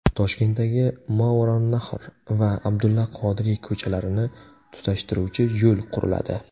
Toshkentdagi Movarounnahr va Abdulla Qodiriy ko‘chalarini tutashtiruvchi yo‘l quriladi.